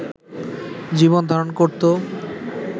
জীবনধারণ করত